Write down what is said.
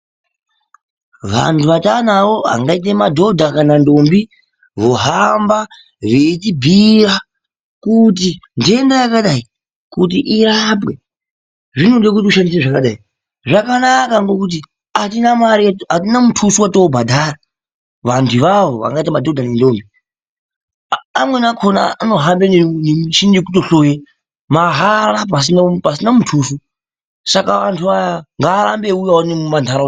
Vantu vatavanawo vangaite madhodha kana ndombi vohamba veitibhuuyira kuti nhenda yakadai kuti irapwe zvinode kuti ushandire zvakadai. Zvakanaka ngekuti atina mare, mutuso wetobhadhara vantuavawo angaite madhodha nendombi amweni akona anohamba nemichini yekutonhloye mahara pasina mutuso. Saka antu aya ngaarambe eiwuya uno muntaraunda mwedu.